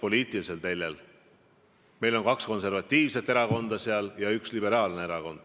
On ju tavaks, et kui uue valitsuse ametiaeg on pihta hakanud, siis antakse oma partneritele teada, milline on riigi välispoliitika ja kaitsepoliitika joon.